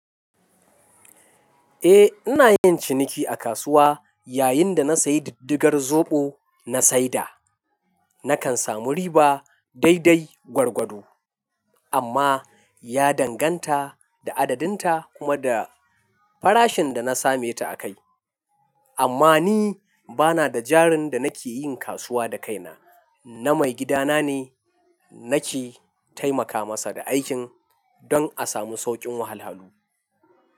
Eh, ina yin ciniki a kasuwa yayin da na sayi diddigar zoɓo na saida. Nakan samu riba dai dai gwargwado amma ya danganta da adadin ta kuma da farashin da na same ta a kai. Amma ni bana da jarin da nake yin kasuwa da kaina, na maigidana ne nake taimaka masa da aikin don a samu saukin wahalahalu.